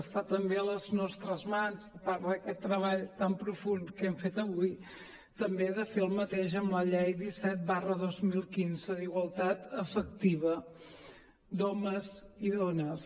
està també a les nostres mans a part d’aquest treball tan profund que hem fet avui també de fer el mateix amb la llei disset dos mil quinze d’igualtat efectiva d’homes i dones